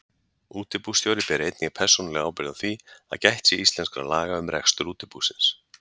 Útibússtjóri ber einnig persónulega ábyrgð á því að gætt sé íslenskra laga um rekstur útibúsins.